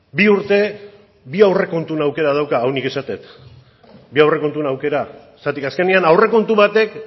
bi urte bi aurrekontuen aukera dauka hau nik esaten dut bi aurrekontuen aukera zergatik azkenean aurrekontu batek